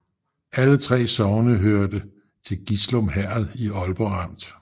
Alle 3 sogne hørte til Gislum Herred i Aalborg Amt